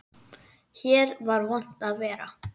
Hér var vont að vera.